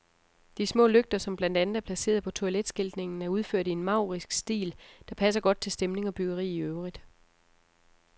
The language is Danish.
De små lygter, som blandt andet er placeret på toiletskiltningen, er udført i en maurisk stil, der passer godt til stemning og byggeri i øvrigt.